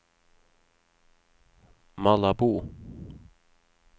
Malabo